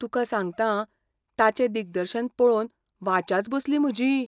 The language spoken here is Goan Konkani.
तुका सांगतां ताचें दिग्दर्शन पळोवन वाचाच बसली म्हजी.